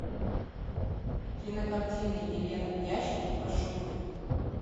кинокартина елена в ящике пошукай